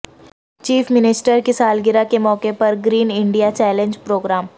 chief minister کی سالگرہ کے موقع پر گرین انڈیا چیلنج پروگرام